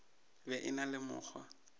be a na le mokgwa